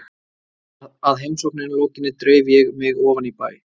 Að heimsókninni lokinni dreif ég mig ofan í bæ.